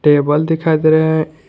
Table दिखाई दे रहे हैं।